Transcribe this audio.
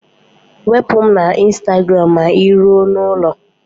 Wepụ m na ịnstagram maa ị rue n'ụlọ!